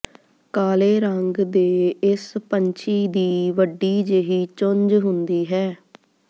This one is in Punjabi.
ਕਾਲੇ ਰੰਗ ਦੇ ਇਸ ਪੰਛੀ ਦੀ ਵੱਡੀ ਜਿਹੀ ਚੁੰਝ ਹੁੰਦੀ ਹੈ